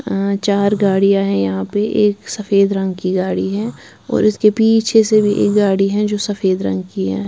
अ चार गाड़ियां हैं यहां पे एक सफेद रंग की गाड़ी है और इसके पीछे से भी एक गाड़ी है जो सफेद रंग की है।